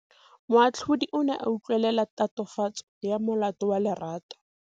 Moatlhodi o ne a utlwelela tatofatsô ya molato wa Lerato.